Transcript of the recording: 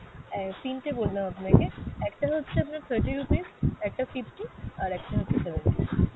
অ্যাঁ তিনটে বললাম আপনাকে। একটা হচ্ছে আপনার thirty rupees, একটা fifty, আর একটা হচ্ছে ।